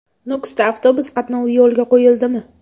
Nukusda avtobus qatnovi yo‘lga qo‘yildimi?.